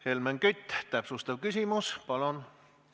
Helmen Kütt, täpsustav küsimus, palun!